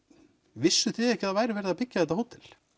vissuð þið ekki að það væri verið að byggja þetta hótel